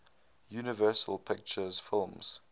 universal pictures films